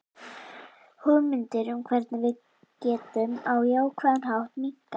Hugmyndir um hvernig við getum á jákvæðan hátt minnkað.